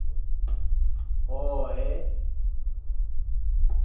hhohhe